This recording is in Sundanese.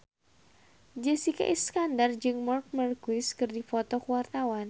Jessica Iskandar jeung Marc Marquez keur dipoto ku wartawan